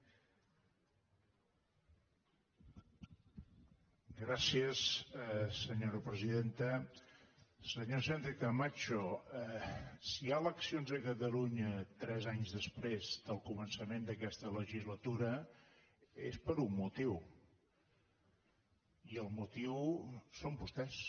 senyora sánchez·camacho si hi ha eleccions a catalunya tres anys després del co·mençament d’aquesta legislatura és per un motiu i el motiu són vostès